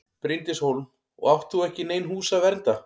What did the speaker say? Bryndís Hólm: Og átt þú ekki í nein hús að vernda?